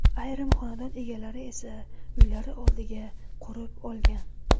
Ayrim xonadon egalari esa uylari oldiga qurib olgan.